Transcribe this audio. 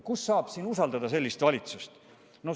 Kuidas saab usaldada sellist valitsust?